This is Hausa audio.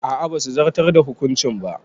A'a basu zartar da hukuncin ba.